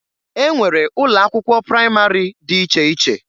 E nwere ụlọ akwụkwọ praịmarị dị iche iche.